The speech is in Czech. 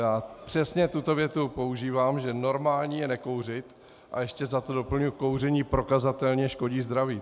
Já přesně tuto větu používám, že normální je nekouřit, a ještě za to doplňuji: kouření prokazatelně škodí zdraví.